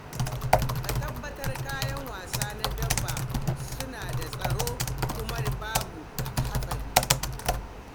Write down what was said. Ka tabbatar kayan wasa na dabba suna da tsaro kuma babu haɗari.